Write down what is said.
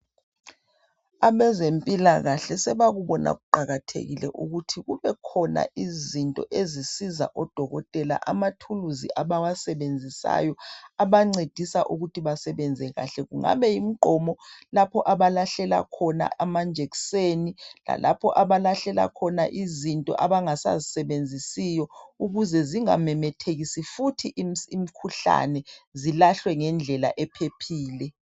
Abezempila kahle sebakubona kuqakathekile ukuthi kube khona izinto ezisiza odokotela amathuluzi abawasebenzisayo abancedisa ukuthi basebenze kuhle kungabe kuyimigqomo lapho abalahlela khona amanjekiseni lalapho abalahlela khona izinto abanga sazi sebenzisiyo ukuze zingamemethekisi futhi imikhuhlane zilahle ngendlela ephephile.